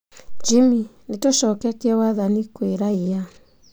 Jimmy: Nĩtũcoketie wathani kwĩ raia